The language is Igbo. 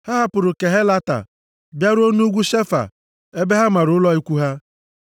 Ha hapụrụ Kehelata bịaruo nʼugwu Shefa ebe ha mara ụlọ ikwu ha.